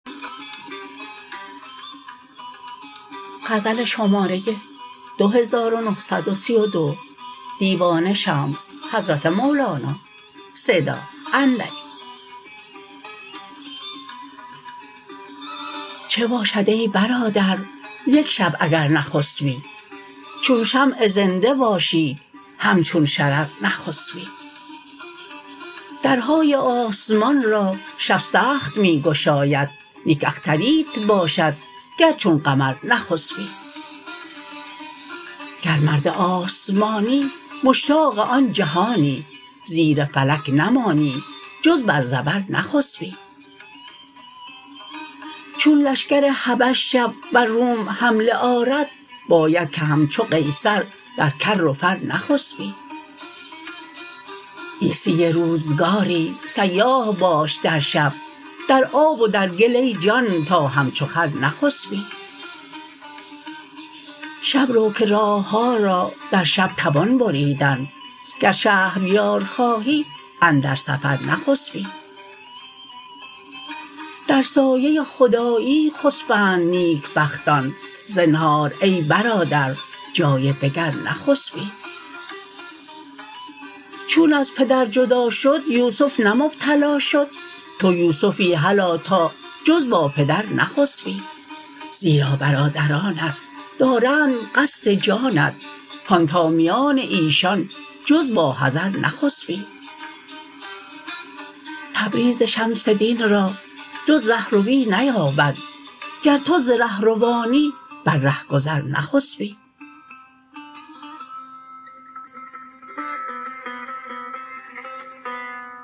چه باشد ای برادر یک شب اگر نخسپی چون شمع زنده باشی همچون شرر نخسپی درهای آسمان را شب سخت می گشاید نیک اختریت باشد گر چون قمر نخسپی گر مرد آسمانی مشتاق آن جهانی زیر فلک نمانی جز بر زبر نخسپی چون لشکر حبش شب بر روم حمله آرد باید که همچو قیصر در کر و فر نخسپی عیسی روزگاری سیاح باش در شب در آب و در گل ای جان تا همچو خر نخسپی شب رو که راه ها را در شب توان بریدن گر شهر یار خواهی اندر سفر نخسپی در سایه خدایی خسپند نیکبختان زنهار ای برادر جای دگر نخسپی چون از پدر جدا شد یوسف نه مبتلا شد تو یوسفی هلا تا جز با پدر نخسپی زیرا برادرانت دارند قصد جانت هان تا میان ایشان جز با حذر نخسپی تبریز شمس دین را جز ره روی نیابد گر تو ز ره روانی بر ره گذر نخسپی